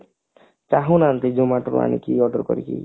ଚାହୁଁ ନାହାନ୍ତି Zomato ରୁ ଆଣିକି order କରିକି